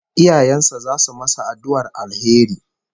Iyayen sa zasu masa addu'ar alheri